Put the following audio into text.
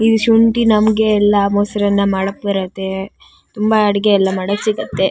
ಈ ಶುಂಠಿ ನಮ್ಗೆಲ್ಲಾ ಮೊಸರನ್ನ ಮಾಡಕ್ ಬರತ್ತೆ. ತುಂಬಾ ಅಡಿಗೆ ಎಲ್ಲ ಮಾಡಕ್ ಸಿಗತ್ತೆ .